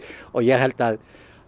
og ég held að